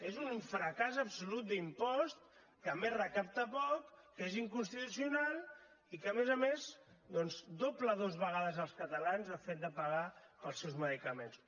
és un fracàs absolut d’impost que a més recapta poc que és inconstitucional i que a més a més doncs doble dues vegades els catalans el fet de pagar els seus medicaments